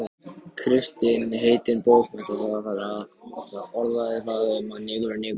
Kristinn heitinn bókmenntapáfi orðaði það um opinberun sína í marxismanum.